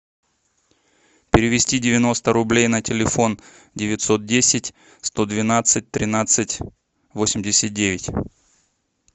перевести девяносто рублей на телефон девятьсот десять сто двенадцать тринадцать восемьдесят девять